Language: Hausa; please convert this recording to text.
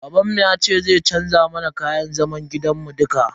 Babanmu yace zai canza mana kayan zaman gidan mu dukka.